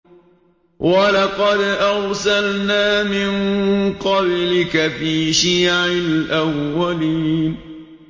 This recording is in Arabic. وَلَقَدْ أَرْسَلْنَا مِن قَبْلِكَ فِي شِيَعِ الْأَوَّلِينَ